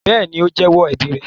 Bẹ́ẹ̀ ni, ó jẹ èèwọ̀ ẹbí rẹ̀.